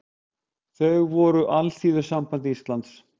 Þau voru Alþýðusamband Íslands